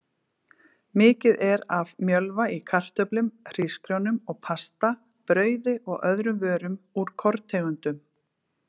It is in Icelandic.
Mikið er af mjölva í kartöflum, hrísgrjónum og pasta, brauði og öðrum vörum úr korntegundum.